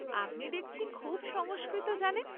আপনি দেখছি খুব সংস্কৃত জানেন।